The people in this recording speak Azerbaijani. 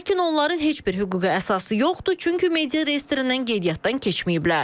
Lakin onların heç bir hüquqi əsası yoxdur, çünki media reyestrindən qeydiyyatdan keçməyiblər.